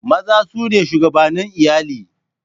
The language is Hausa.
Maza su ne shugabannin iyali.